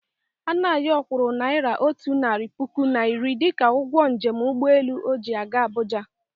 Anayọ kwụrụ naira otu narị puku na iri dịka ụgwọ njem ụgbọelu ọ ji gaa Abuja.